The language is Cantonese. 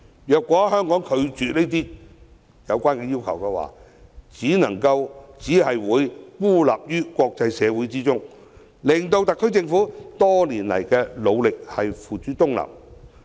如果香港拒絕滿足相關要求，只會被國際社會孤立，枉費特區政府多年來的努力。